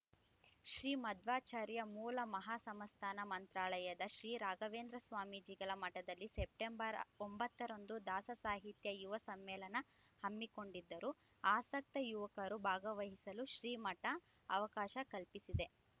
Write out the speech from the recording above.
ಶ್ರೀಮಧ್ವಾಚಾರ್ಯ ಮೂಲ ಮಹಾಸಂಸ್ಥಾನ ಮಂತ್ರಾಲಯದ ಶ್ರೀರಾಘವೇಂದ್ರ ಸ್ವಾಮಿಗಳ ಮಠದಲ್ಲಿ ಸೆಪ್ಟೆಂಬರ್ ಒಂಬತ್ತರಂದು ದಾಸ ಸಾಹಿತ್ಯದ ಯುವ ಸಮ್ಮೇಳನ ಹಮ್ಮಿಕೊಂಡಿದ್ದು ಆಸಕ್ತ ಯುವಕರು ಭಾಗವಹಿಸಲು ಶ್ರೀಮಠ ಅವಕಾಶ ಕಲ್ಪಿಸಿದೆ